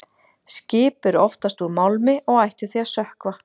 Skip eru oftast úr málmi og ættu því að sökkva.